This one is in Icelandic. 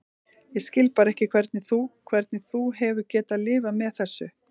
Ég skil bara ekki hvernig þú. hvernig þú hefur getað lifað með þessu.